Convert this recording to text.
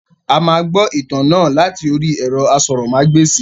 A máa gbọ ìtàn náà láti orí ẹ̀rọ asọ̀rọ̀mágbèsì.